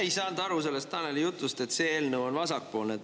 Ei saanud aru sellest Taneli jutust, et see eelnõu on vasakpoolne.